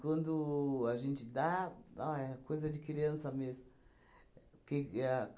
Quando a gente dá, ó é coisa de criança mesmo. Porque a